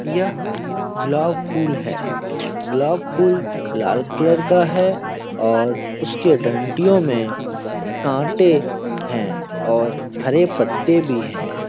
यह गुलाब फूल है। गुलाब फूल लाल कलर का है और उसकी डन्तियो में काटे हैं और हरे पाते भी हैं।